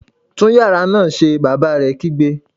Tún yàrá náà ṣe! Bàbá rẹ̀ kígbe